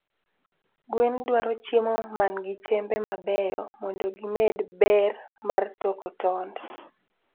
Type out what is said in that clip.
Gwen dwaro chiemo man gi chembe mabeyo mondo gi med ber mar toko tond